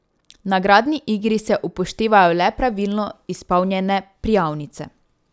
V nagradni igri se upoštevajo le pravilno izpolnjene prijavnice.